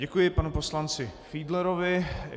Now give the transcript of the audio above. Děkuji panu poslanci Fiedlerovi.